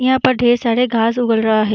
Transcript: यहाँ पर ढेर सारे घास उगल रहा है ।